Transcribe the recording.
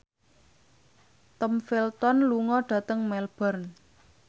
Tom Felton lunga dhateng Melbourne